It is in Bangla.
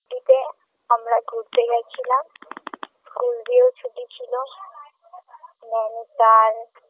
শীতে আমরা ঘুরতে গেছিলাম school দিয়ে ছুটি ছিল নৈনিতাল